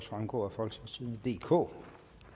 fremgå af folketingstidende DK